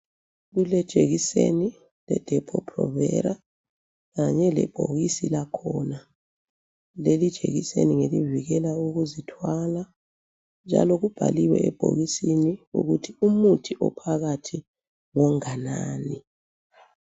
Kulejekiseni leDepo-Provera kanye lebhokisi lakhona. Leli jekiseni ngelivikela ukuzithwala njalo kubhaliwe ebhokisini ukuthi ukuthi ophakathi ngonganani.